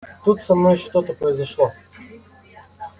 тут со мной что-то произошло